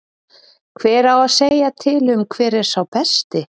Hver á að segja til um hver er sá besti?